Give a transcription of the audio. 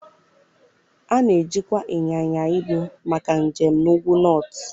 A na-ejikwa ịnyịnya ibu maka njem na Ụgwụ Nọọtụ.